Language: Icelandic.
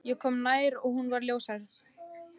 Ég kom nær og hún var ljóshærð.